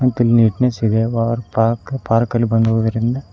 ಮತ್ತು neatness ಇದೆ ಪರ್ ಪಾರ್ಕ್ ಪಾರ್ಕ ಲ್ಲಿ ಬಂದು ಹೋಗುವುದರಿಂದ--